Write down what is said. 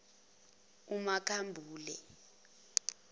umakhambule